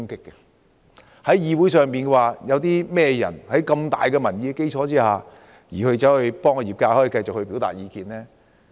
在立法會內，有誰敢力抗巨大的民意，為業界繼續表達意見？